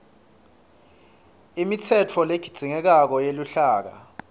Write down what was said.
imitsetfo ledzingekako yeluhlaka